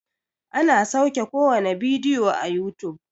ana sauke kowane bidiyo a yutub